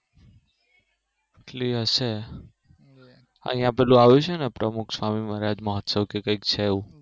એટલી હશે અહિયાં પેલું આવ્યું છે ને પ્રમુખ સ્વામી મહારાજ મહોત્સવ કે કઈક છે એવું